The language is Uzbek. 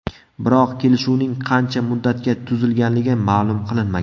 Biroq kelishuvning qancha muddatga tuzilganligi ma’lum qilinmagan.